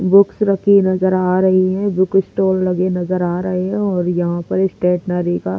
books रखी नज़र आ रही है बुक स्टोल लगे नज़र आ रहे हैं और यहां पर स्टेटनरी का--